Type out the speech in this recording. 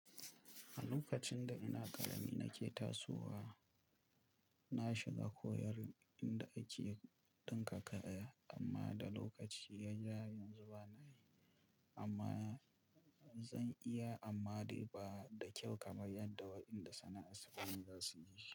A lokacin da ina karami nake tasowa, na shiga koyar inda ake ɗinka kaya amma da lokaci ya ja yanzu bana yi amma zan iya amma bai da kyau kamar yadda waɗanda sana'ar su ne za su yi shi.